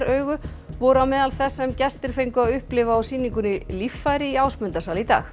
augu voru á meðal þess sem gestir fengu að upplifa á sýningunni líffæri í Ásmundarsal í dag